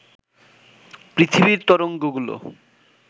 পৃথিবীর তরঙ্গগুলো